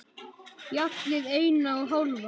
Fjallið eina og hálfa.